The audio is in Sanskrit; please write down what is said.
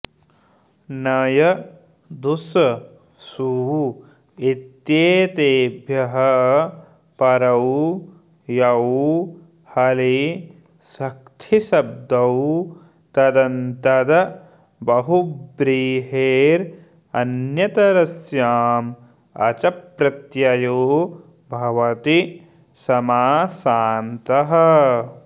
नञ् दुस् सु इत्येतेभ्यः परौ यौ हलिसक्थिशब्दौ तदन्तद् बहुव्रीहेरन्यतरस्याम् अच् प्रत्ययो भवति समासान्तः